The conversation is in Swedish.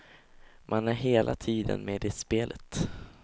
Man är hela tiden med i spelet.